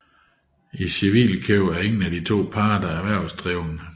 I civilkøb er ingen af de to parter erhvervsdrivende